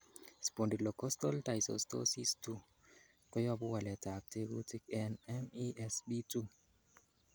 Spondylocostal dysostosis 2 koyobu waletab tekutik en MESP2.